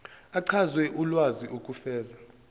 achaze ulwazi ukufeza